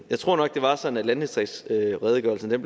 jeg tror nok at det var sådan at landdistriktsredegørelsen